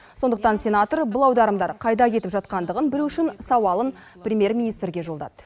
сондықтан сенатор бұл аударымдар қайда кетіп жатқандығын білу үшін сауалын премьер министрге жолдады